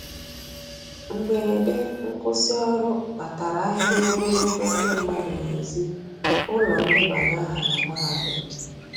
Mgberede nkwusi ọrụ kpatara ahịrị ogologo ndi madu n'ezi ụlọ ndebanye aha na mahadum